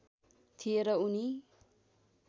थिए र उनी